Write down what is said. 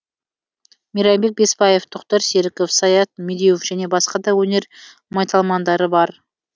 мейрамбек бесбаев тоқтар серіков саят медеуов және басқа да өнер майталмандары бар